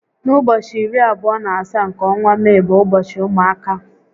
N'ụbọchị iri abụọ na asaá nke ọnwa Mee bụ ụbọchị ụmụaka